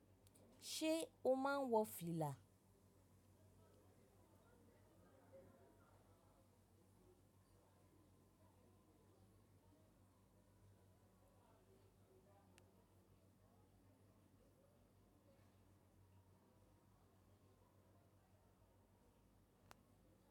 Ṣé o máa ń wọ fìlà?